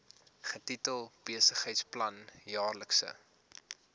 getitel besigheidsplan jaarlikse